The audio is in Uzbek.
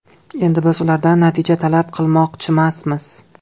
Endi biz ulardan natija talab qilmoqchimasmiz.